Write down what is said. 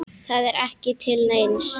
Það er ekki til neins.